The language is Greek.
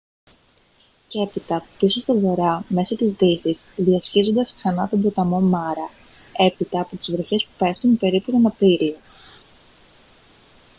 και έπειτα πίσω στον βορρά μέσω της δύσης διασχίζοντας ξανά τον ποταμό μάρα έπειτα από τις βροχές που πέφτουν περίπου τον απρίλιο